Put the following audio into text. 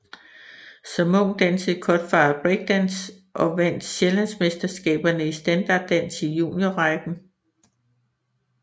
Som ung dansede Cutfather breakdance og vandt Sjællandsmesterskaberne i standarddans i juniorrækken